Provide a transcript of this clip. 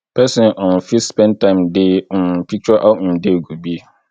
person um fit spend time dey um picture how im day go be